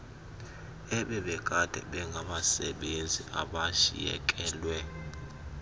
ebebekade bengabasebenzi abashiyekelwe